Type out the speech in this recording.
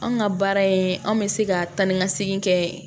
Anw ka baara in anw bɛ se ka taa ni ka segin kɛ